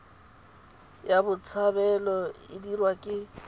ya botshabelo e dirwa ke